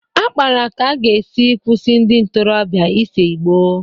A kpara ka a ga-esi kwụsị ndị ntorobịa ise ìgbó.